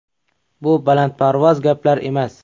Bu balandparvoz gaplar emas.